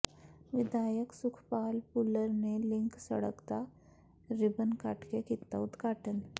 ਵਿਧਾਇਕ ਸੁਖਪਾਲ ਭੁੱਲਰ ਨੇ ਲਿੰਕ ਸੜਕ ਦਾ ਰਿਬਨ ਕੱਟ ਕੇ ਕੀਤਾ ਉਦਘਾਟਨ